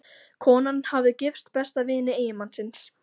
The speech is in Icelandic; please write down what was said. Konan hafði gifst besta vini eiginmannsins.